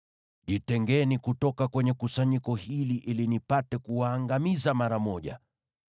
“Jitengeni kutoka kwenye kusanyiko hili ili nipate kuwaangamiza mara moja.”